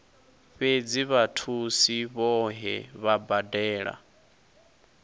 fhedzi vhathusi vhohe vha badela